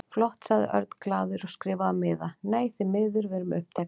Flott sagði Örn glaður og skrifaði á miða: Nei, því miður, við erum uppteknir